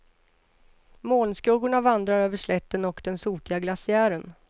Molnskuggorna vandrar över slätten och den sotiga glaciären.